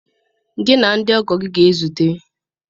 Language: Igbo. Gị na ndị ọgọ gị ga-ezute